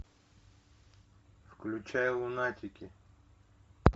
включай лунатики